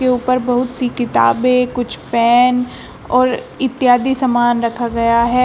ऊपर बहुत सी किताबें कुछ पैन और इत्यादि समान रखा गया है।